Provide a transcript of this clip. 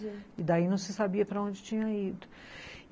E daí não se sabia para onde tinha ido.